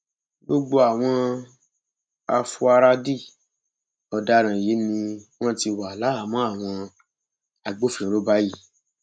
gbogbo àwọn afuarádì ọdaràn yìí ni wọn ti wá láhàámọ àwọn agbófinró báyìí